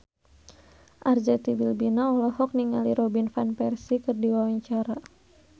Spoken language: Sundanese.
Arzetti Bilbina olohok ningali Robin Van Persie keur diwawancara